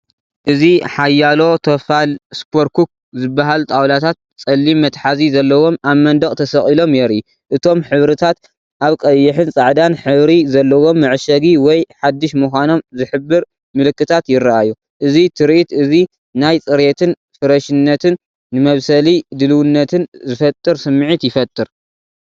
እዚ ሓያሎ ተፋል"ሱፐር ኩክ" ዝበሃሉ ጣውላታት ጸሊም መትሓዚ ዘለዎም፡ኣብ መንደቕ ተሰቒሎም የርኢ። እቶም ሕብርታት ኣብ ቀይሕን ጻዕዳን ሕብሪ ዘለዎም መዐሸጊ ወይ ሓድሽ ምዃኖም ዝሕብር ምልክታት ይርኣዩ። እዚ ትርኢት እዚ ናይ ጽሬትን ፍረሽነትን ንመብሰሊ ድልውነትን ዝፈጥር ስምዒት ይፈጥር።